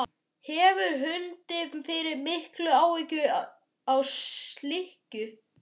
Hefurðu fundið fyrir miklum áhuga á slíku?